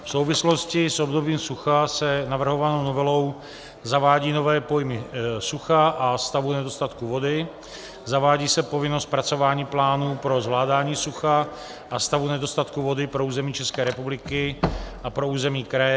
V souvislosti s obdobím sucha se navrhovanou novelou zavádí nové pojmy sucha a stavu nedostatku vody, zavádí se povinnost zpracování plánů pro zvládání sucha a stavu nedostatku vody pro území České republiky a pro území kraje.